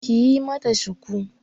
Kiyi mata shuku